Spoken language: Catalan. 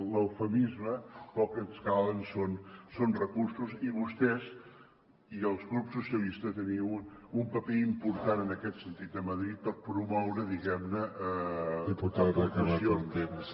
l’eufemisme però el que ens calen són recursos i vostès i el grup socialista tenen un paper important en aquest sentit a madrid per promoure diguem ne aportacions